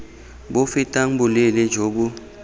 bo fetang boleele jo bo